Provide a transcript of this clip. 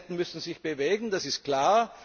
Beide Seiten müssen sich bewegen, das ist klar.